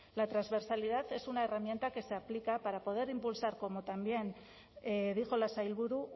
la transversalidad es una herramienta que se aplica para poder impulsar como también dijo la sailburu